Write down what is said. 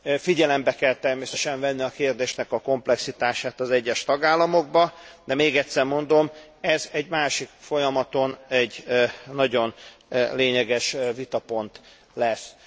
Figyelembe kell természetesen venni a kérdésnek a komplexitását az egyes tagállamokban, de még egyszer mondom, ez egy másik folyamatban egy nagyon lényeges vitapont lesz.